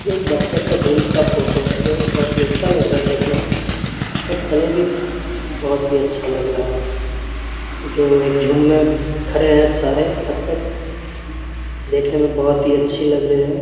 एक बत्तख का झुंड का फोटो है जो बहोत ही अच्छा लग रहा है देखने में और कलर भी बहोत ही अच्छा लग रहा है जो एक झुंड में खड़े हैं सारे बत्तख देखने में बहोत ही अच्छी लग रहे हैं ।